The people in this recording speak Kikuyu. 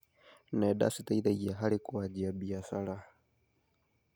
Nenda citeithagia harĩ kũanjia biacara.